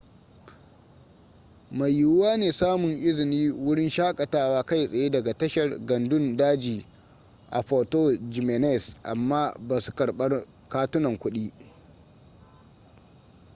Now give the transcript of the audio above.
mai yiwuwa ne samun izinin wurin shakatawa kai tsaye daga tashar gandun daji a puerto jiménez amma ba su karbar katunan kuɗi